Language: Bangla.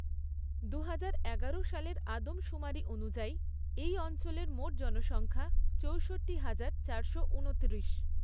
দুহাজার এগারো সালের আদমশুমারি অনুযায়ী এই অঞ্চলের মোট জনসংখ্যা চৌষট্টি হাজার, চারশো ঊনত্রিশ।